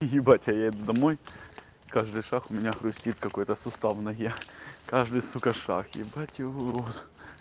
ебать а я еду домой каждый шаг у меня хрустит какой-то сустав в ноге каждый сука шаг ебать его в рот